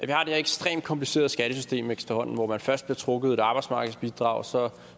det her ekstremt komplicerede skattesystem efterhånden hvor der først bliver trukket et arbejdsmarkedsbidrag og så